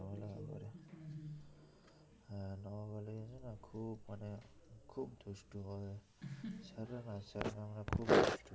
আছে না খুব দুষ্টু মানে ছাড়ে না ছাড়ে না